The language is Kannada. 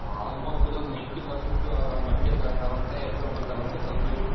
Almost ಎಲ್ಲಾ ninety percent ಮಂಡ್ಯಕ್ ತಗೊಂಡ್ರೆ Example ತಗೊಂಡ್ರೆ ಕಬ್ ಬೇಲಿ